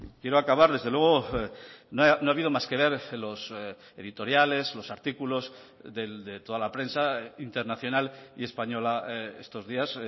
quiero acabar desde luego no ha habido más que ver los editoriales los artículos de toda la prensa internacional y española estos días